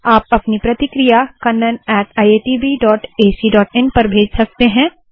आप अपनी प्रतिक्रिया kannaniitbacin पर भेज सकते है